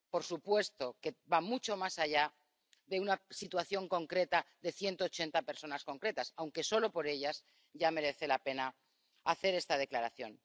Por supuesto que va mucho más allá de una situación concreta de 180 personas concretas, aunque solo por ellas ya merece la pena hacer esta declaración.